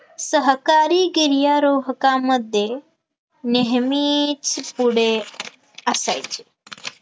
सहकारी गिर्यारोहकामध्ये नेहमीच पुढे असायचे